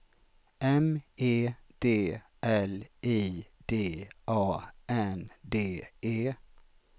M E D L I D A N D E